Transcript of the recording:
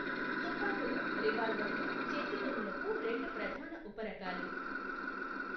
తుపాకులు, రివాల్వర్లు, చేతిగన్నులకు రెండు ప్రధాన ఉపరకాలు.